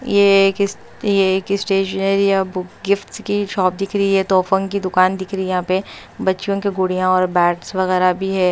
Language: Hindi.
ये एक ये एक स्टेशनरी या बुक गिफ्ट्स की शॉप दिख रही है तोफों की दुकान दिख रही है यहां पे बच्चियों के गुड़ियां और बॅट्स वगैरह भी है।